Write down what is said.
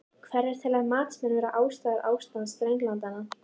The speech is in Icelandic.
Hverjar telja matsmenn vera ástæður ástands drenlagnanna?